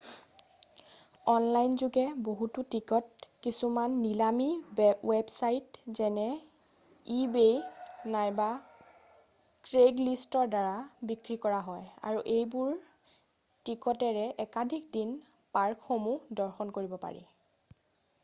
online যোগে বহুতো ticket কিছুমান নিলামী ৱেবছাইট যেনে ইবেই নাইবা ক্ৰেইগলিষ্টৰ দ্বাৰা বিক্ৰী কৰা হয় আৰু এইবোৰ টিকতেৰে একাধিক দিন পাৰ্কসমূহ দৰ্শন কৰিব পাৰি